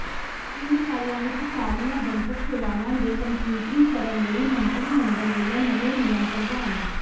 ਤਿੰਨ ਸਾਲਾਂ ਵਿੱਚ ਸਾਰੀਆਂ ਜਨਤਕ ਸੇਵਾਵਾਂ ਦੇ ਕੰਪਿਊਟਰੀਕਰਨ ਲਈ ਮੰਤਰੀ ਮੰਡਲ ਵੱਲੋਂ ਨਵੇਂ ਨਿਯਮ ਪ੍ਰਵਾਨ